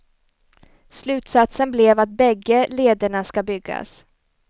Slutsatsen blev att bägge lederna ska byggas.